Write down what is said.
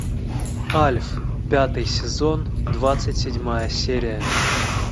альф пятый сезон двадцать седьмая серия